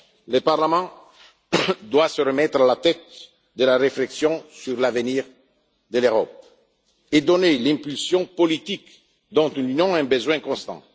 Le Parlement doit se remettre à la tête de la réflexion sur l´avenir de l'Europe et donner l'impulsion politique dont l'Union a un besoin constant.